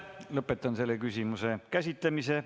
Lõpetan selle küsimuse käsitlemise.